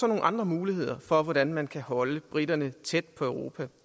nogle andre muligheder for hvordan man handelsmæssigt kan holde briterne tæt på europa